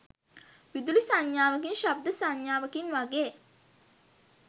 විදුලි සංඥාවකින් ශබ්ද සංඥාවකින් වගේ